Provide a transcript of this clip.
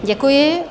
Děkuji.